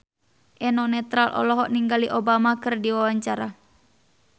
Eno Netral olohok ningali Obama keur diwawancara